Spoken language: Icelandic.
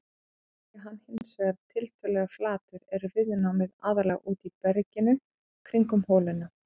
Sé hann hins vegar tiltölulega flatur er viðnámið aðallega úti í berginu kringum holuna.